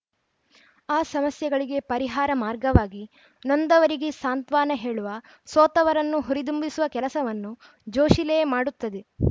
ಆ ಸಮಸ್ಯೆಗಳಿಗೆ ಪರಿಹಾರ ಮಾರ್ಗವಾಗಿ ನೊಂದವರಿಗೆ ಸಾಂತ್ವಾನ ಹೇಳುವ ಸೋತವರನ್ನು ಹುರಿದುಂಬಿಸುವ ಕೆಲಸವನ್ನು ಜೋಶಿಲೇ ಮಾಡುತ್ತದೆ